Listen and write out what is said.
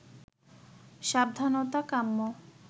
সাবধানতা কাম্য